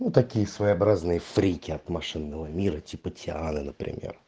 ну такие своеобразные фрики от машинного мира типа тиана например